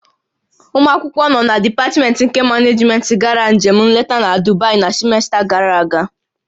Ụmụ akwụkwọ nọ na dipatmentị nke Manejmentị gara njem nleta na Dubai na simesta gàrà aga